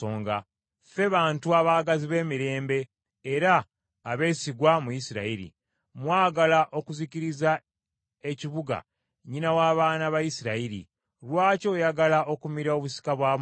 Ffe bantu abaagazi b’emirembe era abeesigwa mu Isirayiri. Mwagala okuzikiriza ekibuga, nnyina w’abaana mu Isirayiri. Lwaki oyagala okumira obusika bwa Mukama ?”